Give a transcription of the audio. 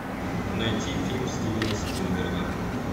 найти фильм стивена спилберга